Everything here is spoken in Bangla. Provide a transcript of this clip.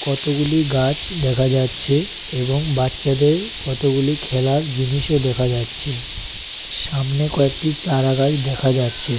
কতগুলি গাছ দেখা যাচ্ছে এবং বাচ্চাদের কতগুলি খেলার জিনিসও দেখা যাচ্ছে সামনে কয়েকটি চারা গাছ দেখাযাচ্ছে ।